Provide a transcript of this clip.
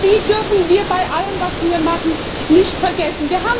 Und die dürfen wir bei allem, was Sie hier machen, nicht vergessen!